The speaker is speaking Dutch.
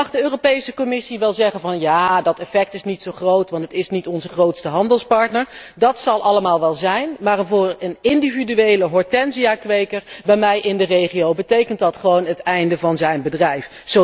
Dan mag de Europese Commissie wel zeggen van 'ja dat effect is niet zo groot, want het is niet onze grootste handelspartner', dat zal allemaal wel zo zijn, maar voor een individuele hortensiakweker bij mij in de regio betekent dat gewoon het einde van zijn bedrijf.